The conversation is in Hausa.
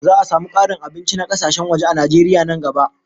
Za a samu ƙarin abinci na kasashen waje a Najeriya nan gaba